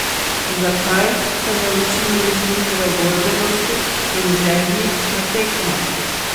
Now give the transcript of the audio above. Zakaj se ne učimo iz njihove borbenosti in želji na tekmah?